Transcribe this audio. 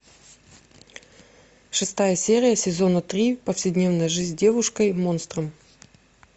шестая серия сезона три повседневная жизнь с девушкой монстром